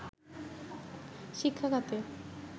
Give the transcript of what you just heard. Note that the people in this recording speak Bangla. শিক্ষাখাতে